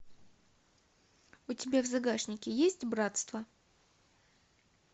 у тебя в загашнике есть братство